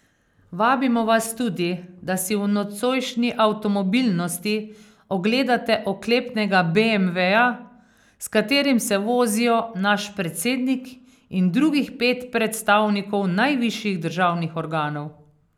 Vabimo vas tudi, da si v nocojšnji Avtomobilnosti ogledate oklepnega beemveja, s katerim se vozijo naš predsednik in drugih pet predstavnikov najvišjih državnih organov.